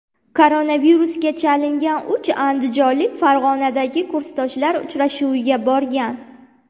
Koronavirusga chalingan uch andijonlik Farg‘onadagi kursdoshlar uchrashuviga borgan.